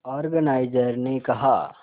organiser ने कहा